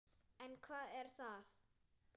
En hvað er að?